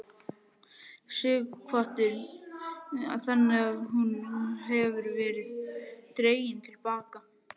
Sighvatur: Þannig að hún hefur verið dregin til baka?